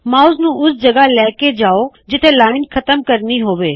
mouse ਨੂੰ ਉਸ ਜਗਹ ਲੈ ਕੇ ਜਾਉ ਜਿੱਥੇ ਲਾਇਨ ਖਤਮ ਕਰਨੀ ਹੋਵੇ